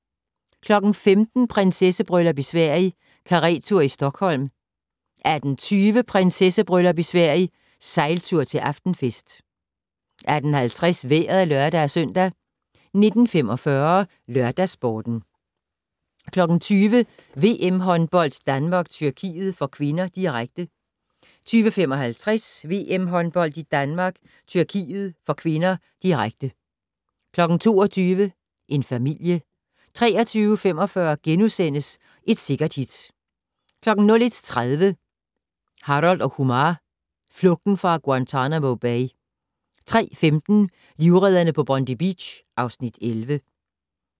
17:00: Prinsessebryllup i Sverige - karettur i Stockholm 18:20: Prinsessebryllup i Sverige - sejltur til aftenfest 18:50: Vejret (lør-søn) 19:45: LørdagsSporten 20:00: VM-håndbold: Danmark-Tyrkiet (k), direkte 20:55: VM-håndbold: Danmark-Tyrkiet (k), direkte 22:00: En familie 23:45: Et Sikkert Hit * 01:30: Harold & Kumar: Flugten fra Guantanamo Bay 03:15: Livredderne på Bondi Beach (Afs. 11)